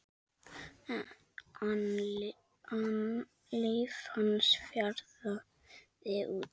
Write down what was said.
an líf hans fjaraði út.